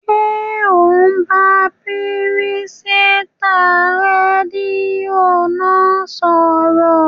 Ṣé ò ń bá pìrìsẹ́ńtà rédíò náà sọ̀rọ̀?